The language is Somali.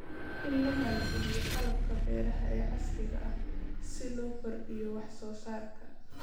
In la maalgeliyo qalabka beeraha ee casriga ah si loo kordhiyo wax soo saarka.